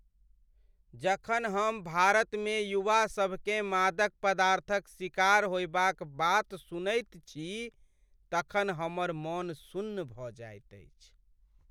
जखन हम भारतमे युवासभकेँ मादक पदार्थक शिकार होयबाक बात सुनैत छी तखन हमर मन सुन्न भऽ जाइत अछि।